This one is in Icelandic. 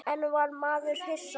En var maður hissa?